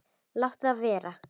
Láttu þetta vera!